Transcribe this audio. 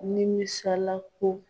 Nimisala ko